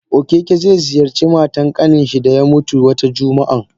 Okeke ze ziyarci matan Kanninshi daya mutu Wata jumaan.